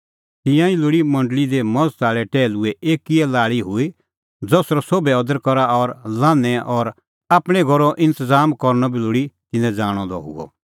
तिहअ ई लोल़ी मंडल़ी दी मज़त आल़ै टैहलूए एक्कै ई लाल़ी हुई ज़सरअ सोभै अदर करा और लान्हैंओ और आपणैं घरो इंतज़ाम करनअ बी लोल़ी तिन्नैं ज़ाणअ द हुअ